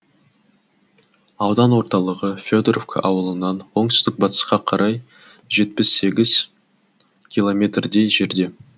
аудан орталығы федоровка ауылынан оңтүстік батысқа қарай жетпіс сегіз километрдей жерде